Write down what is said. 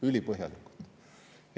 Ülipõhjalikult!